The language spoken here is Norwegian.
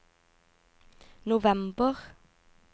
november